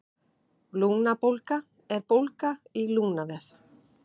Lungnabólga er bólga í lungnavef.